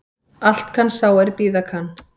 Allt kann sá er bíða kann